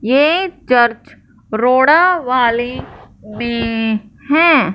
ये चर्च रोड़ा वाली में है।